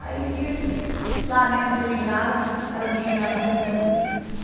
Aí tive lá mesmo no seringal, aí o bichinho já nasceu doente.